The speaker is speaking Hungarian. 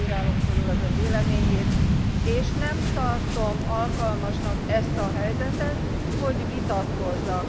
Én nem bírálom fölül az Ön véleményét, és nem tartom alkalmasnak ezt a helyzetet, hogy vitatkozzak.